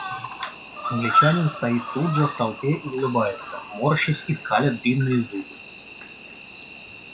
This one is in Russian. англичанин стоит тут же в толпе и улыбается морщась и скаля длинные зубы